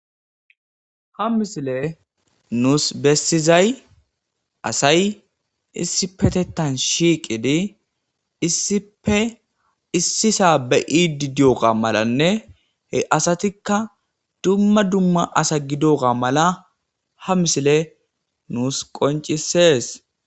ha misile nuus bessizay asay issi petetan shiiqidi issife issisa beyidi dioga malanne he asatikka dumma dumma asa gidoga mala ha misile nuus qoncisees